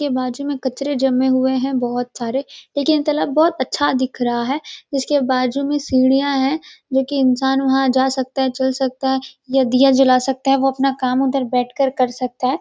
यह बाजु में कचरे जमे हुए हैं बहुत सारे लेकिन तालाब बहुत अच्छा दिख रहा है जिसके बाजु में सीढियाँ है जोकि इन्सान वहां जा सकते हैं चल सकता है या दिया जला सकता है वो अपना काम उधर बैठ के कर सकता है।